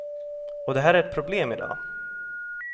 Och det här är ett problem i dag.